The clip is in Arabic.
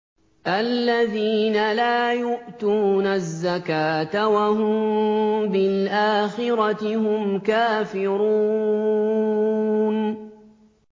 الَّذِينَ لَا يُؤْتُونَ الزَّكَاةَ وَهُم بِالْآخِرَةِ هُمْ كَافِرُونَ